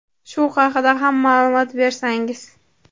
Shu haqida ham ma’lumot bersangiz.